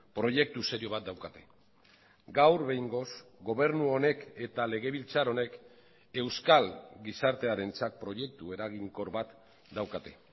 proiektu serio bat daukate gaur behingoz gobernu honek eta legebiltzar honek euskal gizartearentzat proiektu eraginkor bat daukate